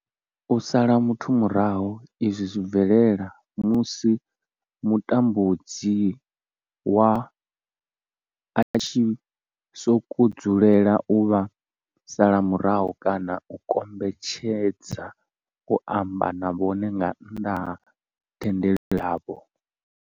U sala muthu murahu izwi zwi bvelela musi mutambudzi wavho a tshi sokou dzulela u vha sala murahu kana a kombetshedza u amba na vhone nga nnḓa ha thendelo yavho.